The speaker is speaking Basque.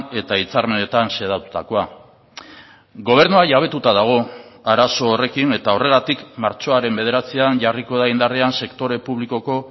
eta hitzarmenetan xedatutakoa gobernua jabetuta dago arazo horrekin eta horregatik martxoaren bederatzian jarriko da indarrean sektore publikoko